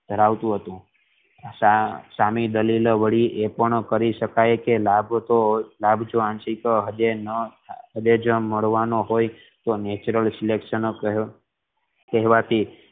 ધરાવતું હતું સામે દલીલો વળી એ પણ કરી શકાય કે લાભ તો હદે નય તો મળવાનો હોય તો natural કેહવા થી